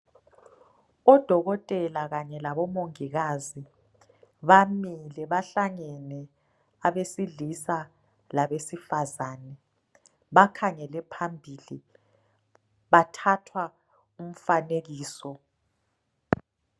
dokotela kanye labo mongikazi bamile bahlangene abesilisa labesifazane bakhangele phambili bathatha umfanekiso